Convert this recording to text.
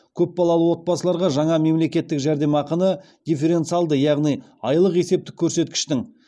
көпбалалы отбасыларға жаңа мемлекеттік жәрдемақыны дифференциалды яғни айлық есептік көрсеткіштің